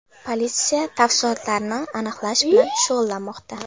Politsiya tafsilotlarni aniqlash bilan shug‘ullanmoqda.